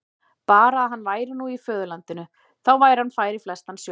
Bara að hann væri nú í föðurlandinu, þá væri hann fær í flestan sjó.